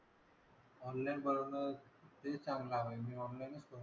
Online वरनं तेच चांगला होईल. म्हणजे online,